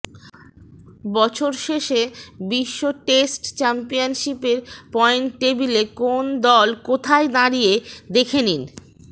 বছর শেষে বিশ্ব টেস্ট চ্যাম্পিয়নশিপের পয়েন্ট টেবিলে কোন দল কোথায় দাঁড়িয়ে দেখে নিন